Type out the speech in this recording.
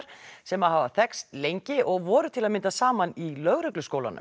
sem hafa þekkst lengi og voru til að mynda saman í